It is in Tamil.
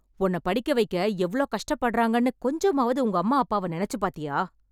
உன்ன படிக்க வைக்க எவ்ளோ கஷ்டப்படறாங்கன்னு கொஞ்சமாவது உங்கம்மா அப்பாவை நெனச்சு பாத்தியா...